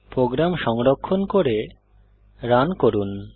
programme সংরক্ষণ করে run করুন